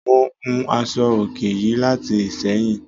Mo hun aṣọ-òkè yìí láti Ìsẹ́yìn